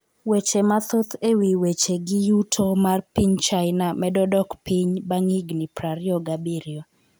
Weche mathoth e wi wechegi yuto mar piny China medo dok piny bang' higni 27